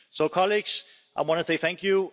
So colleagues, I want to say thank you.